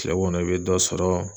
Kile kɔnɔ i be dɔ sɔrɔ